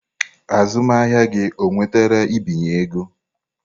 Azụmahịa gị onwetara mbinye ego?